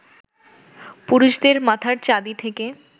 পুরুষদের মাথার চাঁদি থেকে